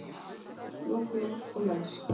Lok, lok og læs